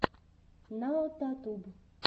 наотатуб